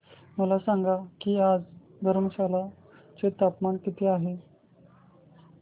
मला सांगा की आज धर्मशाला चे तापमान किती आहे